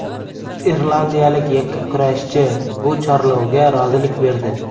Irlandiyalik yakkakurashchi bu chorlovga rozilik berdi.